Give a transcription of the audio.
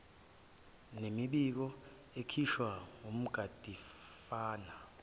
nemibiko ekhishwe wumgadimafa